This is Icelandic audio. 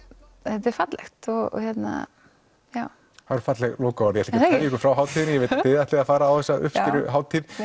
þetta er fallegt þetta eru falleg lokaorð ég ykkur frá hátíðinni ég veit að þið ætlið að fara á þessa uppskeruhátíð